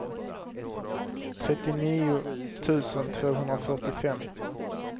trettionio tusen tvåhundrafyrtiofem